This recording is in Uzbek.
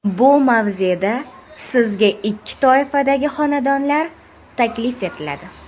Bu mavzeda sizga ikki toifadagi xonadonlar taklif etiladi.